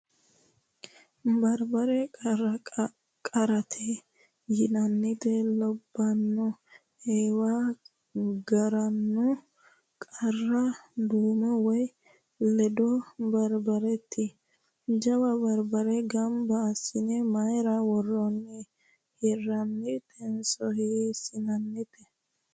Barbare qaarate yinannita labbanno eewa garanno qaara duume woyi leado barbareeti. Jawa barbare gamba assine mayira worroonni ? Hirraatinso hiissinaraati ?